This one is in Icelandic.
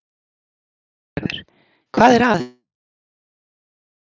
Lillý Valgerður: Hvað er að sem gerir þær svona yndislegar?